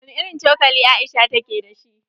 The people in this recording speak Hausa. Wani irin cokali Aisha ta ke dashi?